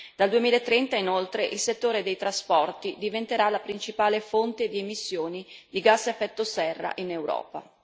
Dal 2030, inoltre, il settore dei trasporti diventerà la principale fonte di emissioni di gas a effetto serra in Europa.